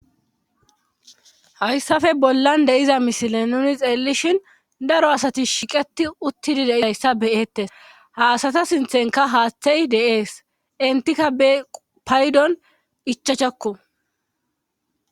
hayssafe bollan deiza mishilen nuni xeellishhin daro asati shiqeti uttidi dehayssa beyettes ha asata sinthenka haaththey deees entikka paydon ichachakko